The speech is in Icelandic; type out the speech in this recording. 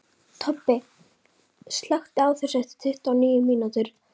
Tobbi, slökktu á þessu eftir tuttugu og níu mínútur.